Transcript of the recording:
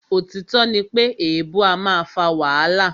Òtítọ́ ní pé èèbu a máà fà wàhálà.